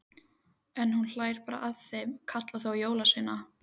En hún bara hlær að þeim, kallar þá jólasveina.